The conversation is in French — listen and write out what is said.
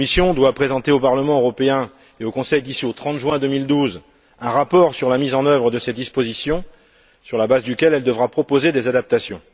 La Commission doit présenter au Parlement européen et au Conseil, d'ici au 30 juin 2012, un rapport sur la mise en œuvre de cette disposition sur la base duquel elle devra proposer des adaptations.